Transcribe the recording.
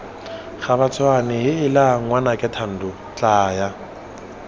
gabatshwane heela ngwanake thando tlaya